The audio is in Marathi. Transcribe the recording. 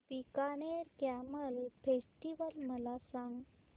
बीकानेर कॅमल फेस्टिवल मला सांग